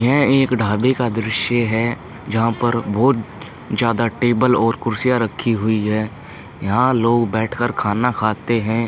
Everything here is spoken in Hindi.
यह एक ढाबे का दृश्य है। जहाँ पर बहोत ज्यादा टेबल और कुर्सियाँ रखी हुई हैं। यहाँ लोग बैठ कर खाना खाते हैं।